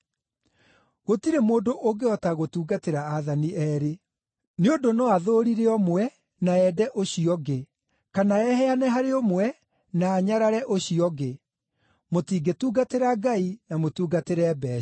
“Gũtirĩ mũndũ ũngĩhota gũtungatĩra aathani eerĩ. Nĩ ũndũ no athũũrire ũmwe, na ende ũcio ũngĩ; kana eheane harĩ ũmwe, na anyarare ũcio ũngĩ. Mũtingĩtungatĩra Ngai na mũtungatĩre mbeeca.